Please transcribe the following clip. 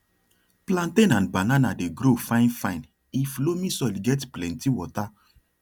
plantain and banana dey grow fine fine if loamy soil get plenty water